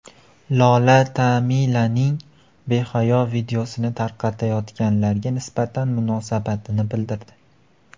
Lola Tamilaning behayo videosini tarqatayotganlarga nisbatan munosabatini bildirdi.